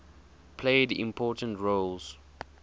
played important roles